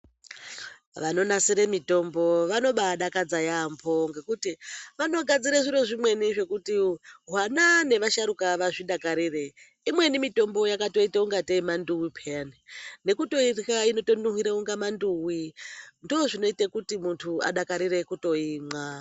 Vanonasire mitombo vanobadakadza yaambo ngekuti vanogadzire zviro zvimweni zvekuti vana nevasharuka vazvidakarire. Imweni mitombo yakatoite kungatei manduwi peyani, nekutoirya inotonuhwire kungatei manduwi. Ndozvinoite kuti muntu adakarire kutoimwa.